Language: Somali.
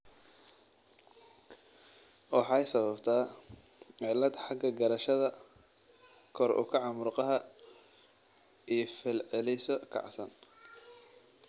Waxay sababtaa cillad xagga garashada, kor u kaca murqaha, iyo falcelisyo kacsan.